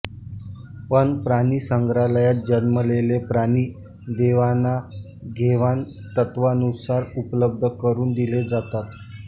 पण प्राणिसंग्रहालयात जन्मलेले प्राणी देवाणा घेवाण तत्वानुसार उपलब्ध करून दिले जातात